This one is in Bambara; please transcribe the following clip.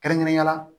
Kɛrɛnkɛrɛnnenya la